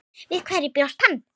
Við hverju bjóst hann?